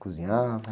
Cozinhava?